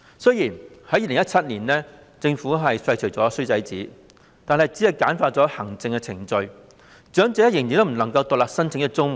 雖然政府在2017年廢除了"衰仔紙"，但只是簡化了行政程序，長者仍然不能獨立申請綜援。